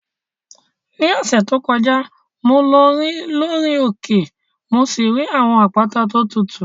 Ní ọ̀sẹ̀ tó kọjá, mo lọ rìn lórí òkè mo sì rí àwọn àpáta tó tutù.